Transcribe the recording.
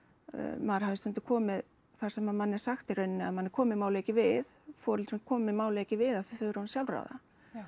maður hafi stundum komið þar sem manni er sagt í rauninni að manni komi málið ekki við foreldrum komi málið ekki við að þau eru orðin sjálfráða